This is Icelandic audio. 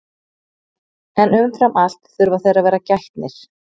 en umfram allt þurfa þeir að vera gætnir